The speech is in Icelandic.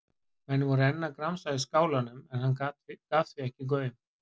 Menn voru enn að gramsa í skálanum en hann gaf því ekki gaum.